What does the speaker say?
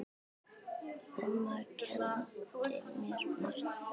Mamma kenndi mér margt.